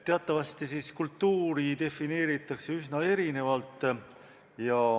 Teatavasti kultuuri defineeritakse üsna erinevalt.